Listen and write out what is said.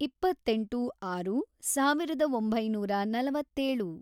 ಇಪ್ಪತ್ತೆಂಟು, ಆರು, ಸಾವಿರದ ಒಂಬೈನೂರ ನಲವತ್ತೇಳು